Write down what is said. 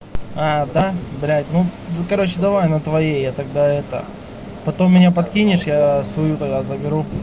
а да блядь ну короче давай на твоей я тогда это потом меня подкинешь я свою тогда заберу